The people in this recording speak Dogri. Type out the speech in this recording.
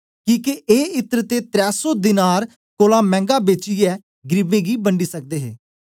किके ए इत्र ते त्रै सौ दीनार त्रै सौ देन दी कमाई कोलां मैंगा बेचियै गरीबें गी बंडी सकदे हे